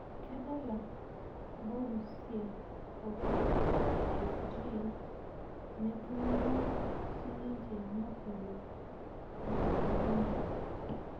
Kedala Borusia o PSG netumo sininche Napoli o Barcelona